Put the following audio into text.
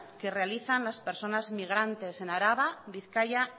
que realizan las personas migrantes en araba bizkaia